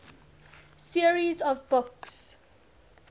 series of books